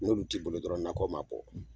N'olu t'i bolo dɔrɔn nakɔ ma bɔ